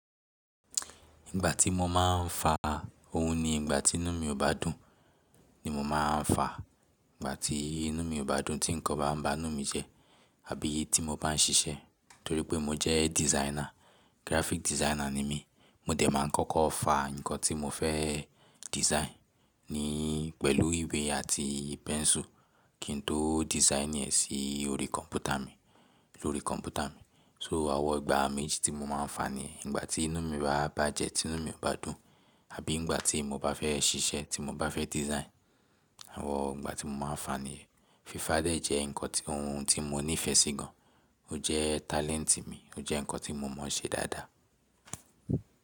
Ìgbà tí mo máa ń fa ohun ni ìgbà tí inú mi ò bá dùn ni mo máa ń fa. Ìgbà tí inú mi ò bá dùn, tí nǹkan bá ń ba inú mi jẹ́ àbí tí mo bá ń ṣiṣẹ́. Nítorí pé mo jẹ́ designer, graphic designer ni mí. Mo dẹ̀ máa ń kọ́kọ́ fa ǹkan tí mo fẹ́ design ní pẹ̀lú ìwé àti pẹ́nsù kí n tó design ẹ̀ sí orí kọ̀m̀pútà mi, lórí kọ̀m̀pútà mi. So àwọn ìgbà méjì tí mo máa ń fa ni ìgbà tí inú mi bá jẹ́, tí inú mi ò bá dùn àbí ìgbà tí mo bá fẹ́ ṣiṣẹ́, tí mo bá fẹ́ design. Àwọn ìgbà tí mo máa ń fa ni. Fífà dẹ̀jẹ́ ǹkan ohun tí mo nífẹ̀ẹ́ sí gan. Ó jẹ́ talent mi, ó jẹ́ ǹkan tí mo mọ̀ ṣe dáadáa.